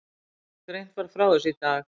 Greint var frá þessu í dag